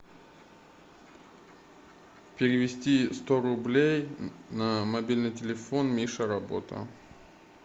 перевести сто рублей на мобильный телефон миша работа